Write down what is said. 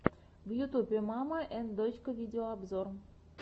в ютубе мама энд дочка видеообзор